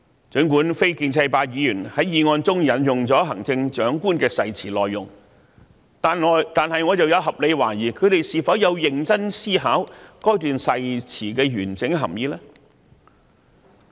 儘管非建制派議員在議案中引用了行政長官的誓詞內容，但我有合理懷疑，他們有否認真思考該段誓詞的完整含意呢？